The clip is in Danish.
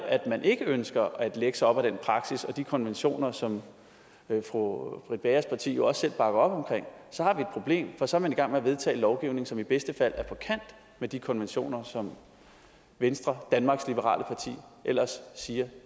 ikke ønsker at lægge sig op ad den praksis og de konventioner som fru britt bagers parti jo også selv bakker op om så har vi et problem for så er man i gang med at vedtage lovgivning som i bedste fald er på kant med de konventioner som venstre danmarks liberale parti ellers siger at